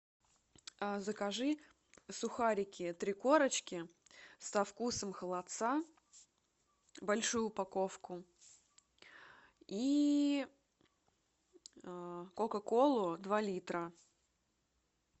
закажи сухарики три корочки со вкусом холодца большую упаковку и кока колу два литра